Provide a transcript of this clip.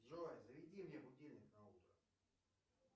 джой заведи мне будильник на утро